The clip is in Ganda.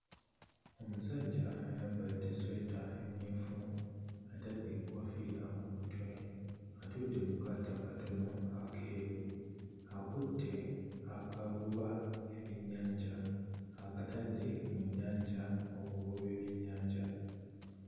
Omusajja ayambadde essweta emmyufu, atadde enkoofiira ku mutwe, atudde ku kaato akatono akeeru, akutte akavuba ebyennyanja akatadde mu nnyanja okuvuba ebyennyanja.